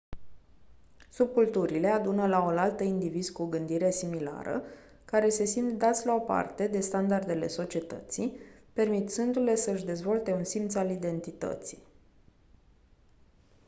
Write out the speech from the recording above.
subculturile adună laolaltă indivizi cu gândire similară care se simt dați la o parte de standardele societății permițându-le să-și dezvolte un simț al identității